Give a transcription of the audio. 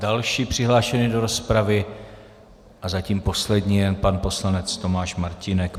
Další přihlášený do rozpravy a zatím poslední je pan poslanec Tomáš Martínek.